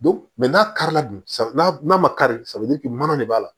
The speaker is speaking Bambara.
Don mɛ n'a kari la dun n'a ma kari mana de b'a la